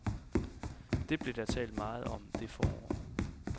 Det blev der talt meget om det forår.